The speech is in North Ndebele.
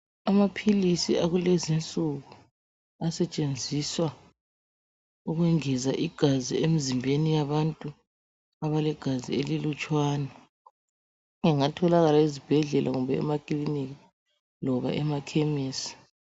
Amaphilisi akulezinsuku, asetshenziswa ukwengeza igazi emzimbeni yabantu abalegazi elilutshwani, engatholakala ezibhedlela kumbe emakilinika, loba emakhemesi.